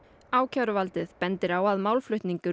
ákæruvaldið bendir á að málflutningur